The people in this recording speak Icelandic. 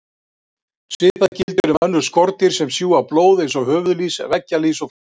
Svipað gildir um önnur skordýr sem sjúga blóð eins og höfuðlýs, veggjalýs og flær.